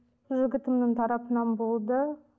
жігітімнің тарапынан болды